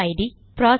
UID